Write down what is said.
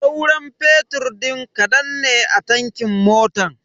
Sauran fetur din kadan ne a tankin motan.